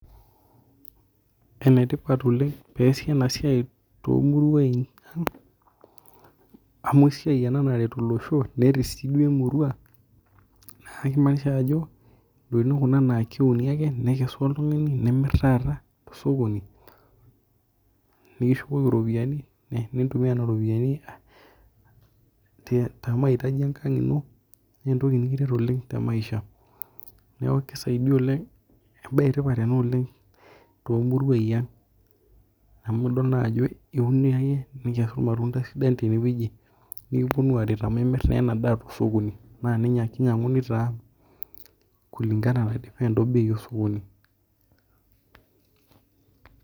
Enetipat oleng teneasi enasiai tomuruan ang amu esiai ena naret olosho nerer emurua nakimaanisha ajo ntokitin kuna na keuni ake nekesuni nimir oltungani tosokoni nikishukoki ropiyani, nintumia nona ropiyani temautaji enkang ino na entoki ina nikiret oleng temaisha kisaidia oleng embae etipat oleng tomuruai aang amu idol ajo iumia iyie nilo atum irmatunda sidan tenewueji nikiponu aret amu imir na enadaa tosokoni nakinyanguni taa obei osokoni.